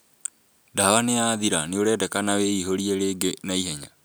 Ndawa nĩyathira, nĩũrendekana wĩihũrie rĩngĩ naihenya